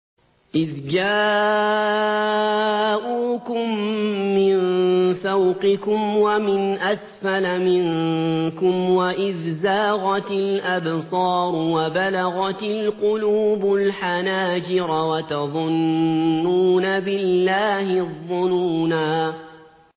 إِذْ جَاءُوكُم مِّن فَوْقِكُمْ وَمِنْ أَسْفَلَ مِنكُمْ وَإِذْ زَاغَتِ الْأَبْصَارُ وَبَلَغَتِ الْقُلُوبُ الْحَنَاجِرَ وَتَظُنُّونَ بِاللَّهِ الظُّنُونَا